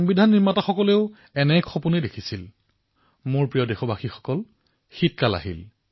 মই আশা প্ৰকাশ কৰিছো যে সংবিধান দিৱসে আমাৰ সংবিধানৰ আদৰ্শ বৰ্তাই ৰখাত তথা ৰাষ্ট্ৰ নিৰ্মাণত আমাৰ যোগদানক আমাৰ প্ৰতিশ্ৰুতিক শক্তিশালী কৰক